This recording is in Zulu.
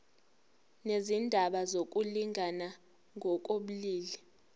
nezindaba zokulingana ngokobulili